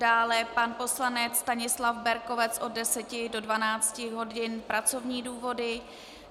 Dále pan poslanec Stanislav Berkovec od 10 do 12 hodin - pracovní důvody.